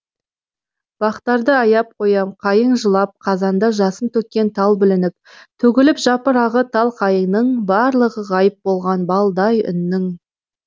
бақтарды аяп қоям қайың жылап қазанда жасын төккен тал бүлініп төгіліп жапырағы тал қайыңының барлығы ғайып болған балдай үннің